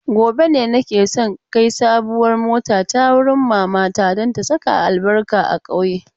Gobe na ke so in kai sabuwar motata wurin mamata don ta saka albarka a ƙauye.